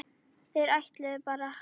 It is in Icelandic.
Þeir ætluðu bara